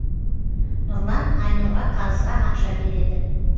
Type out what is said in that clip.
нұрлан айнұрға қарызға ақша береді